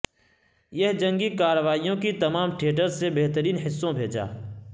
یہ جنگی کارروائیوں کی تمام تھیئٹرز سے بہترین حصوں بھیجا